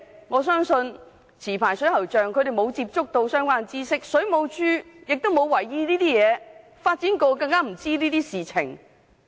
我相信持牌水喉匠沒有接觸到相關知識，水務署亦沒有為意這些情況，發展局對這些更不知情。